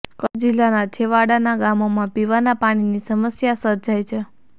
કચ્છ જિલ્લાનાં છેવાડાનાં ગામોમાં પીવાનાં પાણીની સમસ્યા સર્જાઈ છે